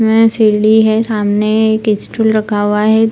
शिल्डी है सामने एक स्टूल रखा हुआ है।